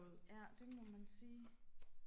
ja det må man sige